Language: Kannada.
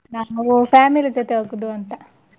ನಮ್ದು family ಜೊತೆ ಹೋಗುದು ಅಂತ.